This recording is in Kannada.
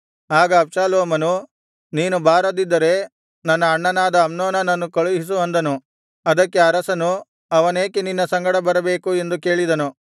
ಆಗ ಅಬ್ಷಾಲೋಮನು ನೀನು ಬಾರದಿದ್ದರೆ ನನ್ನ ಅಣ್ಣನಾದ ಅಮ್ನೋನನನ್ನು ಕಳುಹಿಸು ಅಂದನು ಅದಕ್ಕೆ ಅರಸನು ಅವನೇಕೆ ನಿನ್ನ ಸಂಗಡ ಬರಬೇಕು ಎಂದು ಕೇಳಿದನು